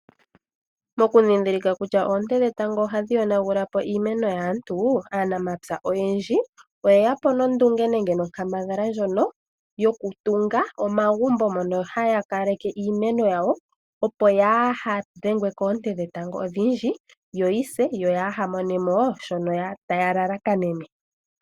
Mokundhindhika kutya oonte dhetango ohadhi yonagula po iimeno yaantu aanamapya oyendji oye ya po nondunge nenge nonkambadhala ndjono yokutunga omagumbo ngono haya kaleke iimeno yawo opo kayiidhengwe koonte dhetango odhindji yoyi se yo kaya mone mo shoka taya lalakanene.